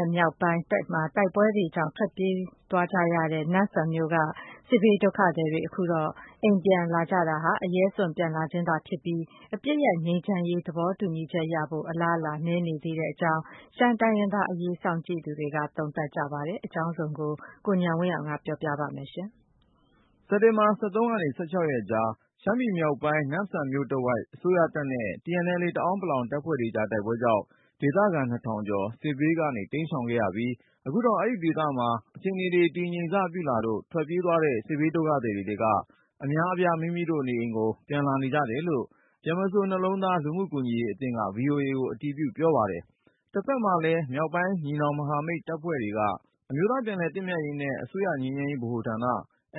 ယ်မြောက်ပိုင်း တိုက်ပွဲတွေကြောင့် ထွက်ပြေးသွားရတဲ့ နမ့်ဆန်မြို့က စစ်ဘေးဒုက္ခသည်တွေ အခုတော့ အိမ်ပြန် လာကြတာဟာ အရဲစွန့် ပြန်လာခြင်းသာဖြစ်ပြီး၊ အပစ်ရပ် ငြိမ်းချမ်းရေး သဘောတူညီချက်ရဖို့ အလားအလာ နည်းနေသေးကြောင်း ရှမ်းတိုင်းရင်းသားအရေး စောင့်ကြည့်သူတွေက သုံးသပ်ကြပါတယ်။ အကြောင်းစုံကို ကိုဉာဏ်ဝင်းအောင်က တင်ပြပါမယ်။ စက်တင်ဘာ ၁၃ ကနေ ၁၆ ရက်ကြား ရှမ်းပြည်မြောက်ပိုင်း နမ့်ဆန်မြို့တဝိုက်မှာ အစိုးရတပ်နဲ့ TNLA တအောန်းပလောင် တပ်ဖွဲ့တွေကြား တိုက်ပွဲကြောင့် ဒေသခံ နှစ်ထောင်ကျော် စစ်ဘေးက တိမ်းရှောင်ခဲ့ရပြီး၊ အခုတော့ အဲဒီဒေသမှာ အခြေအနေတွေ တည်ငြိမ်စပြုလာလို့ ထွက်ပြေးသွားတဲ့ စစ်ဘေးဒုက္ခသည်တွေထဲက အများအပြား မိမိတို့နေအိမ်ကို ပြန်လာနေကြတယ်လို့ ဗြဟ္မစိုရ်နှလုံးသား လူမှုကူညီရေး အသင်းက VOA ကိုအတည်ပြု ပြောပါတယ်။ တဖက်မှာလည်း မြောက်ပိုင်း ညီနောင်မဟာမိတ်အဖွဲ့တွေက အမျိုးသားပြန်လည်သင့်မြတ်ရေးနဲ့ အစိုးရငြိမ်းချမ်းရေးဗဟိုဌာန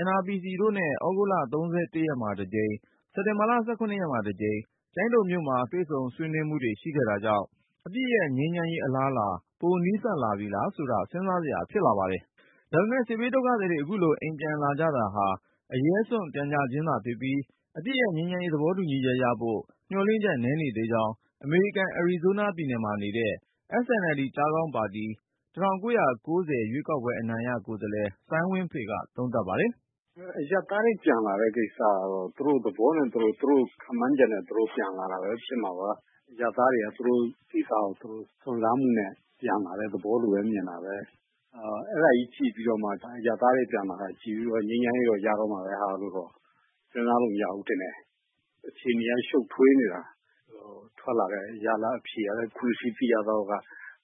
NRPC တို့နဲ့ သြဂုတ်လ ၃၁ ရက်မှာတကြိမ်၊ စက်တင်ဘာ ၁၇ ရက်မှာတကြိမ် ကျိုင်းတုံမြို့မှာ တွေ့ဆုံဆွေးနွေးမှုတွေ ရှိခဲ့တာကြောင့် အပစ်ရပ်ငြိမ်းချမ်းရေး အလားအလာ ပိုနီးစပ်လာပြီလားဆိုတာ စဉ်းစားစရာဖြစ်လာပါတယ်။ ဒါပေမဲ့ စစ်ဘေးဒုက္ခသည်တွေ အခုလို အိမ်ပြန်လာကြတာဟာ အရဲစွန့် ပြန်ကြခြင်းသာဖြစ်ပြီး၊ အပစ်ရပ် ငြိမ်းချမ်းရေး သဘောတူညီချက်ရဖို့ မျှော်လင့်ချက် နည်းနေသေးကြောင်း အမေရိကန် အရီဇိုးနားပြည်နယ်မှာနေတဲ့ SNLD ပါတီ ၁၉၉၀ ရွေးကောက်ပွဲအနိုင်ရ ကိုယ်စားလှယ် စိုင်းဝင်းဖေက သုံးသပ်ပါတယ်။ “အရပ်သားတွေ ပြန်လာတဲ့ ကိစ္စကတော့ သူတို့သဘောနဲ့ သူတို့ ခန့်မှန်းချက်နဲ့ သူတို့ ပြန်လာကြတယ်။ အရပ်သားတွေက သူတို့နေရာကို စွန့်စားနဲ့ ပြန်လာတဲ့သဘောပါပဲ။ အဲဒါကိုကြည့်ပြီး အရပ်သားတွေပြန်လာတာကို ကြည့်ပြီး ငြိမ်းချမ်းရေးရတော့မှာပဲဆိုပြီးတော့ စဉ်းစားလို့ မရဘူးထင်တယ်။ အခြေအနေက ရှုပ်ထွေးနေတာ ထွက်လာတဲ့ ရလဒ်အဖြေကလည်း အခုသိရသလောက်က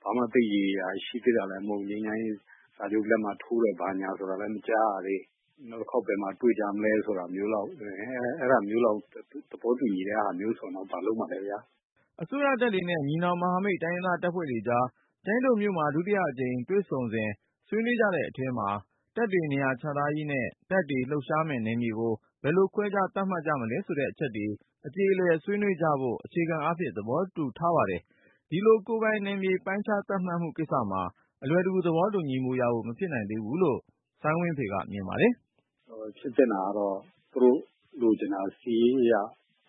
ဘာမှ ရေရေရာရာလည်း ရှိသေးတာမဟုတ်သေးဘူး။ ငြိမ်းချမ်းရေး စာချုပ်လက်မှတ်ထိုးတယ်ဆိုတာလည်း မကြားရသေးဘူး။ နောက်တခါ ဘယ်မှာတွေ့ကြမလဲ အဲဒါမျိုးလောက် သဘောတူညီတာမျိုးဆိုတော့ ဘာလုပ်မှာလဲခင်ဗျ။” အစိုးရတပ်တွေနဲ့ ညီနောင်မဟာမိတ် တိုင်းရင်းသားတပ်ဖွဲ့တွေကြား ကျိုင်းတုံမြို့မှာ ဒုတိယအကြိမ်တွေ့ဆုံစဉ် ဆွေးနွေးကြတဲ့အထဲမှာ တပ်တွေနေရာချထားရေးနဲ့ တပ်တွေ လှုပ်ရှားမယ့်နယ်မြေကို ဘယ်လိုခွဲခြား သတ်မှတ်မလဲဆိုတဲ့အချက်တွေ အကြေအလည်ဆွေးနွေးကြဖို့ အခြေခံအားဖြင့် သဘောတူထားပါတယ်။ ဒီလို ကိုယ်ပိုင်နယ်မြေ ပိုင်းခြားသတ်မှတ်မှုကိစ္စမှာ အလွယ်တကူ သဘောတူညီမှုရဖို့ မဖြစ်နိုင် သေးဘူးလို့ စိုင်းဝင်းဖေက မြင်ပါတယ်။ “ ဖြစ်သင့်တာကတော့ သူတို့လိုချင်တာ စစ်ရေးအရ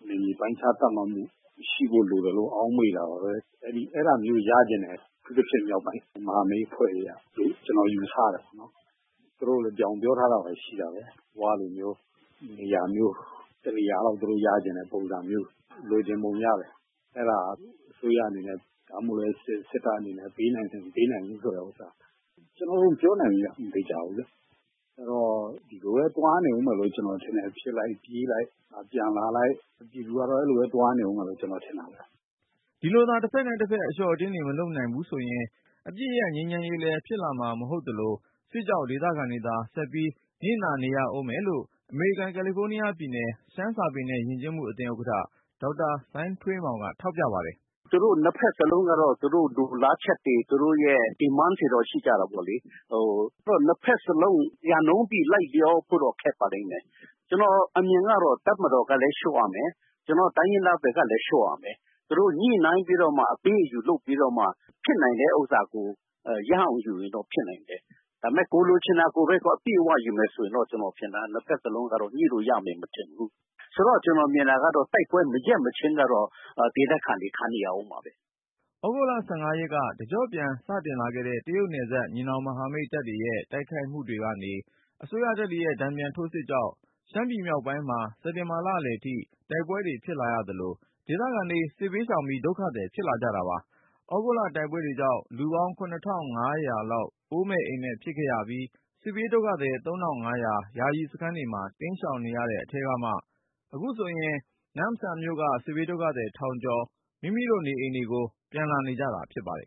နယ်မြေ ပိုင်းခြားသတ်မှတ်မှု ရှိဖို့လိုတယ်လို့ ထင်တာပဲ ။ အဲဒါမျိုးရချင်တယ် အထူးသဖြင့် မြောက်ပိုင်းမဟာမိတ်အဖွဲ့တွေကလို့ ကျနော်ယူဆတာပေါ့နော်။ သူတို့ပြောထားတာရှိတာပဲ ၀ တို့လို့မျိုး နေရာ တနေရာလောက်တော့ ရချင်တဲ့ ပုံစံမျိုး လိုချင်ပုံရတယ်။ အဲဒါ စစ်တပ်အနေနဲ့ ပေးနိုင်တယ် မပေးနိုင်ဘူးဆိုတာ ကျနော်မပြောနိုင်ဘူးခင်ဗျ မသေချာဘူးလေ။ အဲဒီတော့ ဒီလိုပဲ သွားနေဦးမယ်လို့ ကျနော်ထင်တယ်။ ဖြစ်လိုက်၊ ပြေးလိုက် ၊ ပြန်လာလိုက်နဲ့ ပြည်သူကတော့ အဲလိုမျိုး သွားနေဦးမယ်လို့ ကျနော်ထင်တာပဲ။” ဒီလိုသာ တဖက်နဲ့တဖက် အလျှော့အတင်းတွေ မလုပ်နိုင်ဘူးဆိုရင် အပစ်ရပ်ငြိမ်းချမ်းရေးလည်း ဖြစ်လာမှာ မဟုတ်သလို၊ စစ်ကြောင့် ဒေသခံတွေသာ ဆက်ပြီး နစ်နာနေရဦးမယ်လို့ အမေရိကန် ကယ်လီဖိုးနီးယားပြည်နယ် ရှမ်းစာပေနဲ့ ယဉ်ကျေးမှုအသင်းဥက္ကဌ ဒေါက်တာ စိုင်းထွေးမောင်က ထောက်ပြပါတယ်။ “သူတို့ ၂ ဖက်စလုံးကတော့ သူတို့လိုလားချက်တွေ သူတို့ရဲ့ ရည်မှန်းချက်ကတော့ ရှိကြတာပဲလေ။ ၂ ဖက်စလုံး ရာခိုင်နှုန်းပြည့် လိုက်လျောဖို့တော့ ခက်ပါလိမ့်မယ်။ ကျနော့်အမြင်ကတော့ တပ်မတော်ကလည်း လျော့ရမယ် ၊ ကျနော်တို့ တိုင်းရင်းသားဘက်ကလည်း လျော့ရမယ်၊ သူတို့ ညှိနှိုင်းပြီးတော့မှ အပေးအယူ လုပ်ပြီးတော့မှ ဖြစ်နိုင်တဲ့ ဥစ္စာကို ရအောင်ယူရင်တော့ ဖြစ်နိုင်တယ်။ ဒါပေမယ့် ကိုယ်လိုချင်တာကိုပဲ အပြည့်အ၀ ယူမယ်ဆိုရင်တော့ ၂ ဘက်စလုံးက ညှိလို့ရမယ် မထင်ဘူး။ ဆိုတော့ ကျနော်မြင်တာကတော့ တိုက်ပွဲ မရပ်မချင်းတော့ ဒေသခံတွေ ခံနေရဦးမှာပဲ။” သြဂုတ်လ ၁၅ ရက်က တကျော့ပြန်စတင်လာခဲ့တဲ့ တရုတ်နယ်စပ် ညီနောင်မဟာမိတ်တပ်တွေရဲ့ တိုက်ခိုက်မှုတွေကနေ အစိုးရတပ်တွေရဲ့ တန်ပြန်ထိုးစစ်တွေကြောင့် ရှမ်းပြည်နယ်မြောက်ပိုင်းမှာ စက်တင်ဘာလအလယ်ထိ တိုက်ပွဲတွေ ဖြစ်လာရသလို၊ ဒေသခံတွေ စစ်ဘေးရှောင်ပြီး ဒုက္ခသည် ဖြစ်လာကြပါတယ်။ သြဂုတ်လ တိုက်ပွဲကြောင့် လူပေါင်း ၇၅၀၀ လောက် အိုးမဲ့အိမ်မဲ့ ဖြစ်ခဲ့ရပြီး စစ်ဘေးဒုက္ခသည် ၃၅၀၀ ယာယီစခန်းတွေမှာ တိမ်းရှောင်နေရတဲ့အထဲကမှ အခုဆိုရင် နမ့်ဆန်မြို့က စစ်ဘေးဒုက္ခသည် ထောင်ကျော် မိမိတို့ နေအိမ်ကို ပြန်လာကြတာ ဖြစ်ပါတယ်